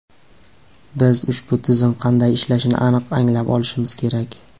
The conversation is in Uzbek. Biz ushbu tizim qanday ishlashini aniq anglab olishimiz kerak.